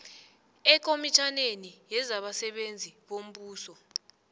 ekomitjhaneni yezabasebenzi bombuso